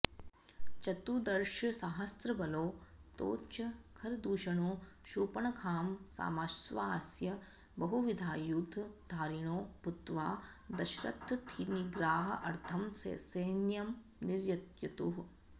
चतुर्दशसाहस्रबलौ तौ च खरदूषणौ शूर्पणखां समाश्वास्य बहुविधायुधधारिणौ भूत्वा दाशरथिनिग्रहाऽर्थं ससैन्यं निर्ययतुः